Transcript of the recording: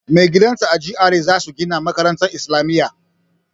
Magidanta a GRA za su gina makarantar isilamiya.